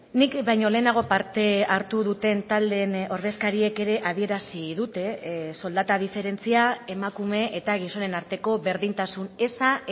nik baino lehenago parte hartu duten taldeen ordezkariek ere adierazi dute soldata diferentzia emakume eta gizonen arteko berdintasun eza